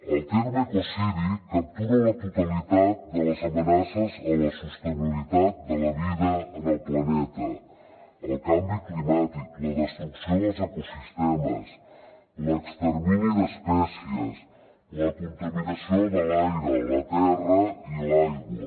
el terme ecocidi captura la totalitat de les amenaces a la sostenibilitat de la vida en el planeta el canvi climàtic la destrucció dels ecosistemes l’extermini d’espècies la contaminació de l’aire la terra i l’aigua